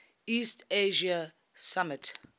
east asia summit